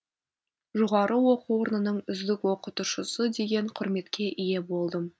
жоғары оқу орнының үздік оқытушысы деген құрметке ие болдым